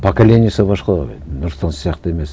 поколениесі басқалау енді нұрсұлтан сияқты емес